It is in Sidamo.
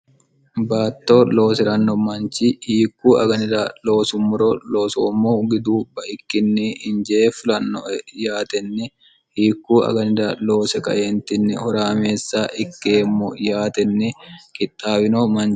baatto loosiranno manchi hiikku aganira loosummoro loosoommohu gidu bai''ikkinni injee fulanno yaatenni hiikku aganira loose kaentinni horaameessa ikkeemmo yaatenni qixxaawino manchi